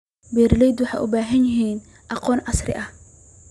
Beeraleydu waxay u baahan yihiin aqoon casri ah.